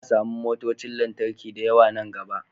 Za a samu motocin lantarki da yawa nan gaba